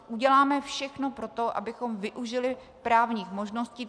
Uděláme všechno pro to, abychom využili právních možností.